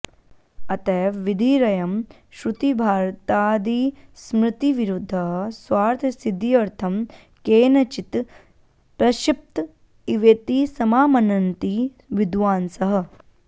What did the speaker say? अतएव विधिरयं श्रुतिभारतादिस्मृतिविरुद्धः स्वार्थसिद्ध्यर्थं केनचित् प्रक्षिप्त इवेति समामनन्ति विद्वांसः